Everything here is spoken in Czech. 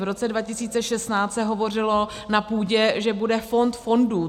V roce 2016 se hovořilo na půdě (?), že bude fond fondů.